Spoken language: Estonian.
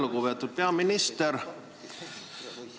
Lugupeetud peaminister!